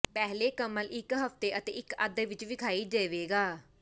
ਪਹਿਲੇ ਕਮਤ ਇੱਕ ਹਫ਼ਤੇ ਅਤੇ ਇੱਕ ਅੱਧ ਵਿੱਚ ਵੇਖਾਈ ਦੇਵੇਗਾ